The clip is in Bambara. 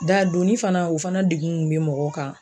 dadonni fana o fana degun kun be mɔgɔw kan